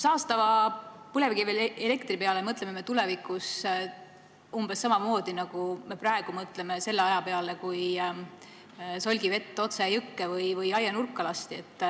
Saastava põlevkivielektri peale mõtleme me tulevikus küllap umbes samamoodi, nagu me praegu mõtleme selle aja peale, kui solgivett otse jõkke või aianurka lasti.